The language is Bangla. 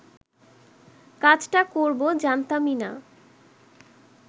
কাজটা করব জানতামই না